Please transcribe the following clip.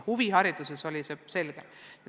Huvihariduses oli see pilt selgem.